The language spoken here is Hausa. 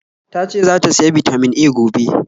Tace zata siya Bitamin A gobe